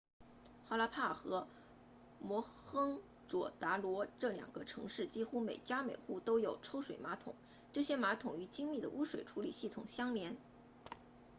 哈拉帕 harappa 和摩亨佐达罗 mohenjo-daro 这两个城市几乎每家每户都有抽水马桶这些马桶与精密的污水处理系统相连